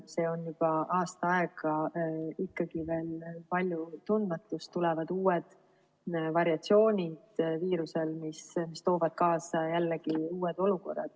See on kestnud juba aasta aega, aga ikkagi veel on palju tundmatut, tulevad uued viiruse variatsioonid, mis toovad kaasa jällegi uued olukorrad.